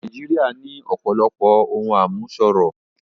Nàìjíríà ní ọ̀pọ̀lọpọ̀ ohun àmúṣọrọ̀